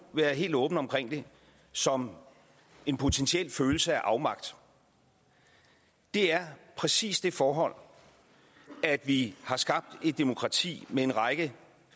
være helt åben om det som en potentiel følelse af afmagt er præcis det forhold at vi har skabt et demokrati med en række